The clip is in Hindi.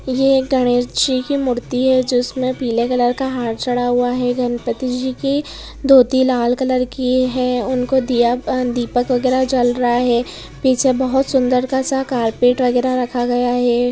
ये गणेश जी की मूर्ति है जिसमे पीले कलर का हार चढ़ा हुआ है गणपतीजी की धोती लाल कलर की है उनको दिया प दीपक वगेरा जल रहा है पीछे बहुत सुंदर का सा कार्पेट वगैरा रखा गया है।